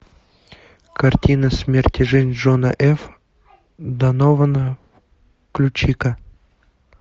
картина смерть и жизнь джона ф донована включи ка